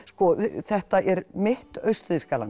þetta er mitt Austur Þýskaland